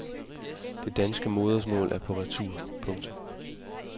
Det danske modersmål er på retur. punktum